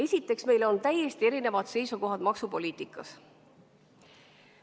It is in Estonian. Esiteks, meil on täiesti erinevad seisukohad maksupoliitikas.